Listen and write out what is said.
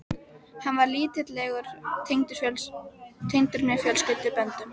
Hann var lítillega tengdur mér fjölskylduböndum.